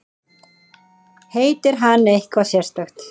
Heitir hann eitthvað sérstakt?